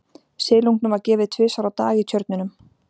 Silungnum var gefið tvisvar á dag í tjörnunum.